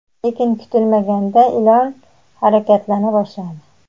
lekin kutilmaganda ilon harakatlana boshladi.